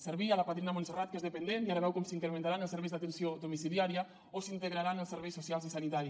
servir la padrina montserrat que és dependent i ara veu com s’incrementaran els serveis d’atenció domiciliària o s’integraran els serveis socials i sanitari